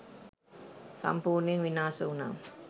සම්පූර්ණයෙන් විනාශ වුණා.